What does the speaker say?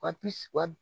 Ka piwa